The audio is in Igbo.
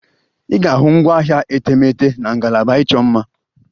Ị ga-ahụ ngwaahịa etemeete na ngalaba ịchọ mma.